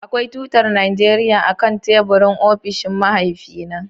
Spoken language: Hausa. Akwai tutar Najeriya akan teburin ofishin mahaifina.